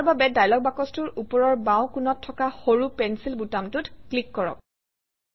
ইয়াৰ বাবে ডায়লগ বাকচটোৰ ওপৰৰ বাওঁ কোণত থকা সৰু পেঞ্চিল বুটামটোত ক্লিক কৰক